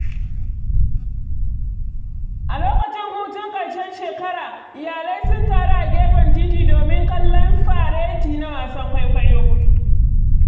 A lokacin hutun ƙarshen shekara, iyalai sun taru a gefen titi domin kallon fareti da wasan kwaikwayo.